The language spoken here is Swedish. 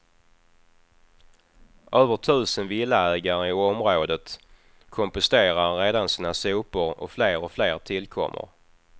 Över tusen villaägare i området komposterar redan sina sopor och fler och fler tillkommer.